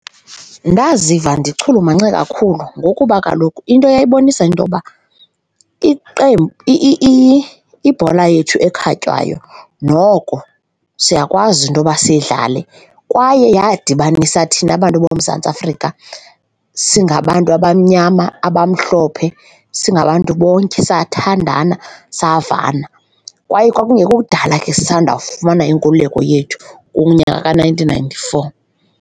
Ndaziva ndichulumance kakhulu ngokuba kaloku into yayibonisa into yoba iqembu, ibhola yethu ekhatywayo noko siyakwazi into yoba siyidlale kwaye yadibanisa thina bantu boMzantsi Afrika singabantu abamnyama, abamhlophe, singabantu bonke sathandana savana. Kwaye kwakungekho kudala ke sisandawufumana inkululeko yethu kunyaka ka-nineteen ninety-four.